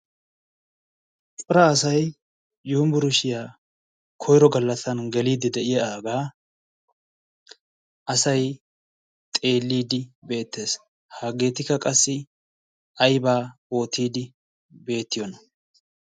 phira asai yumburushiyaa koiro gallassan geliiddi de7iya aagaa asai xeelliiddi beettees haggeetikka qassi aibaa ootiiddi beettiyoona